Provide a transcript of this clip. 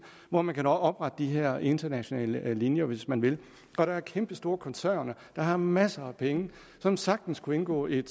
hvor man kan oprette de her internationale linjer hvis man vil og der er kæmpestore koncerner der har masser af penge og som sagtens kunne indgå et